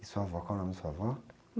E sua avó, qual o nome da sua avó?